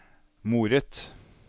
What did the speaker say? moret